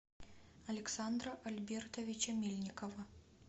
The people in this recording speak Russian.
александра альбертовича мельникова